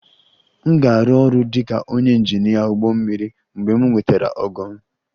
M ga-arụ ọrụ dị ka onye injinia ụgbọ mmiri mgbe m nwetara ogo m